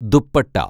dupatta